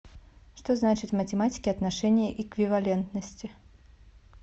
что значит в математике отношение эквивалентности